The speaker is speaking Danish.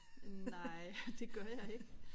Nej det gør jeg ikke